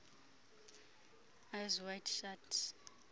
eyes wide shut